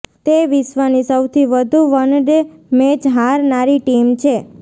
તે વિશ્વની સૌથી વધુ વનડે મેચ હારનારી ટીમ છે